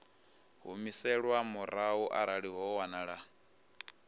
humiselwa murahu arali ho wanala